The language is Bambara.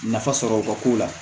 Nafa sɔrɔ o ka ko la